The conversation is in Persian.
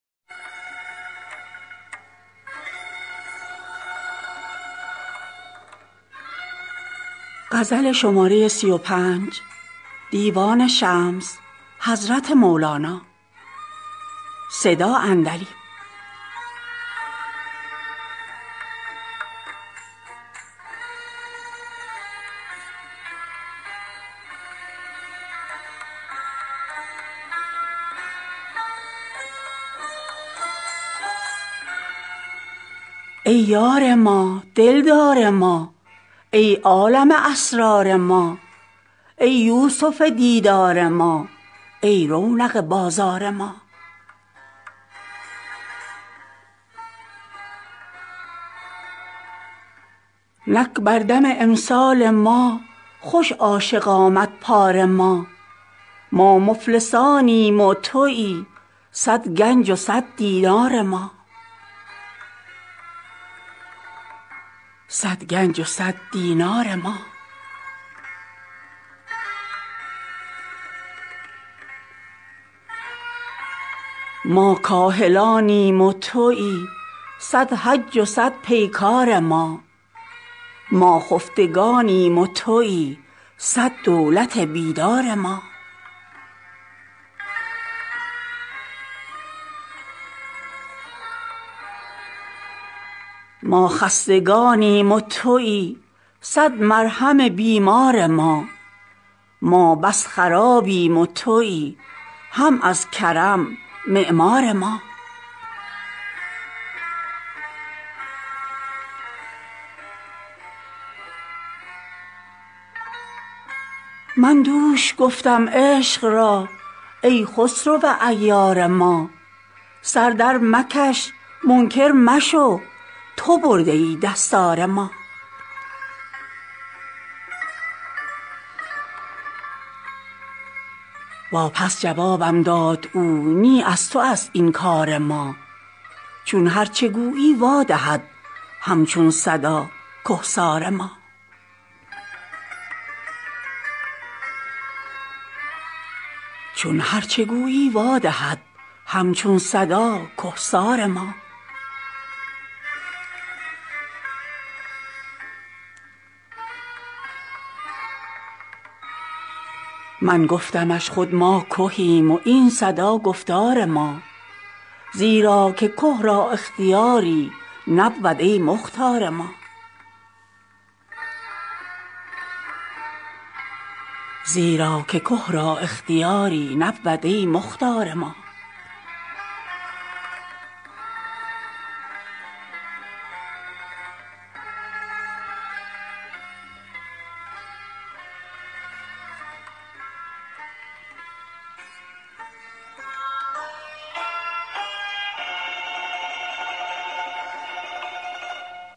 ای یار ما دل دار ما ای عالم اسرار ما ای یوسف دیدار ما ای رونق بازار ما نک بر دم امسال ما خوش عاشق آمد پار ما ما مفلسانیم و تویی صد گنج و صد دینار ما ما کاهلانیم و تویی صد حج و صد پیکار ما ما خفتگانیم و تویی صد دولت بیدار ما ما خستگانیم و تویی صد مرهم بیمار ما ما بس خرابیم و تویی هم از کرم معمار ما من دوش گفتم عشق را ای خسرو عیار ما سر درمکش منکر مشو تو برده ای دستار ما واپس جوابم داد او نی از توست این کار ما چون هرچ گویی وا دهد هم چون صدا که سار ما من گفتمش خود ما کهیم و این صدا گفتار ما زیرا که که را اختیاری نبود ای مختار ما